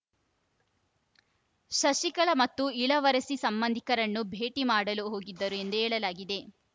ಶಶಿಕಲಾ ಮತ್ತು ಇಳವರಸಿ ಸಂಬಂಧಿಕರನ್ನು ಭೇಟಿ ಮಾಡಲು ಹೋಗಿದ್ದರು ಎಂದು ಹೇಳಲಾಗಿದೆ